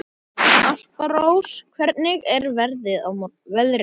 Alparós, hvernig er veðrið á morgun?